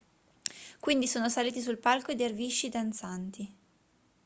quindi sono saliti sul palco i dervisci danzanti